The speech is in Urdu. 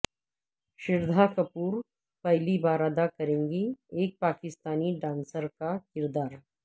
شردھا کپور پہلی بار ادا کریں گی ایک پاکستانی ڈانسر کا کردار